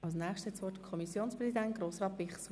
Das Wort hat der Kommissionspräsident, Grossrat Bichsel.